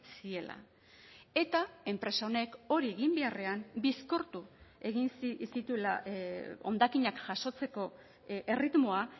ziela eta enpresa honek hori egin beharrean bizkortu egin zituela hondakinak jasotzeko erritmoa